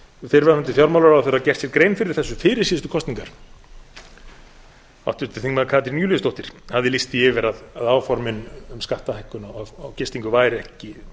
fyrrverandi fjármálaráðherra gert sér grein fyrir þessu fyrir síðustu kosningar háttvirtur þingmaður katrín júlíusdóttir hafði lýst því yfir að áformin um skattahækkun á gistingu væru ekki